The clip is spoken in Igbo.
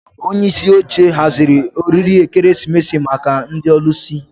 Onye isi oche haziri oriri ekeresimesi maka ndị ọlụsị